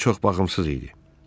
Gəmi çox baxımsız idi.